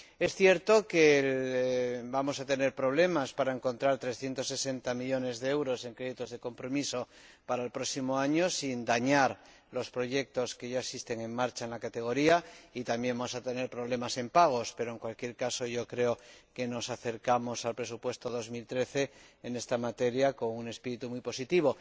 Es cierto que vamos a tener problemas para encontrar 360 millones de euros en créditos de compromiso para el próximo año sin dañar los proyectos que ya están en marcha en la rúbrica, y también vamos a tener problemas en créditos de pago pero, en cualquier caso, creo que nos acercamos al presupuesto de 2013 en esta materia con un espíritu muy positivo.